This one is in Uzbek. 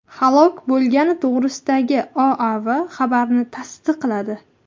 halok bo‘lgani to‘g‘risidagi OAV xabarini tasdiqladi .